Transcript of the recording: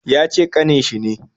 Yace kanin shi ne